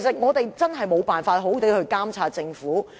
議員真的無法好好監察政府。